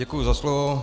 Děkuji za slovo.